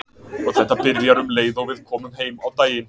Og þetta byrjar um leið og við komum heim á daginn.